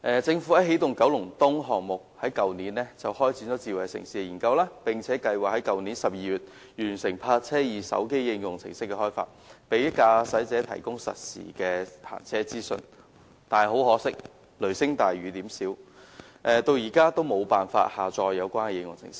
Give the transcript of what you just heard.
政府就起動九龍東項目於去年開展智慧城市的研究，並計劃於去年12月完成"易泊車"手機應用程式的開發，向駕駛者提供實時的泊車資訊，但很可惜，雷聲大，雨點小，市民至今仍無法下載有關的應用程式。